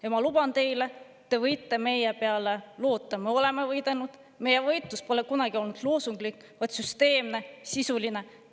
Ja ma luban teile, te võite meie peale loota, me oleme võidelnud, meie võitlus pole kunagi olnud loosunglik, vaid süsteemne, sisuline.